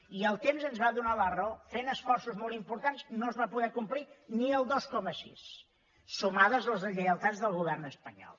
i el temps ens va do nar la raó fent esforços molt importants no es va poder complir ni el dos coma sis sumades les deslleialtats del govern espanyol